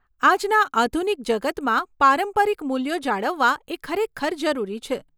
આજના આધુનિક જગતમાં પારંપરિક મૂલ્યો જાળવવા એ ખરેખર જરૂરી છે.